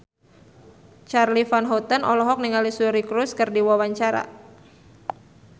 Charly Van Houten olohok ningali Suri Cruise keur diwawancara